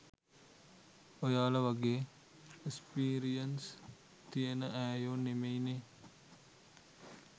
ඔයාල වගේ එස්පීරියංස් තියෙන ඈයො නෙමේනෙ